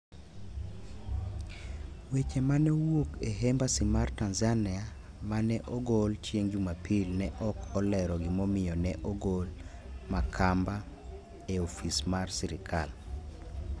Weche ma ne owuok e Embassy mar Tanzania ma ne ogol chieng' Jumapil ne ok olero gimomiyo ne ogol Makamba e ofis mar sirkal.